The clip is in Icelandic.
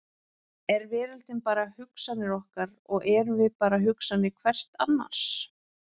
Er veröldin bara hugsanir okkar og erum við bara hugsanir hvert annars?